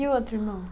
E o outro irmão?